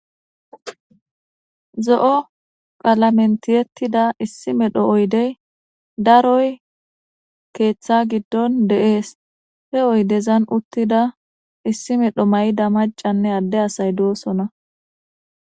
Zo7o qalamen tiyettida issi medho oydey daroy keeththa giddon de'es he oydezan uttida issi medho mayida macanne adde asay doosona.